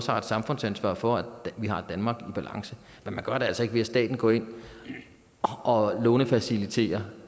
har et samfundsansvar for at vi har et danmark i balance men man gør det altså ikke ved at staten går ind og lånefaciliterer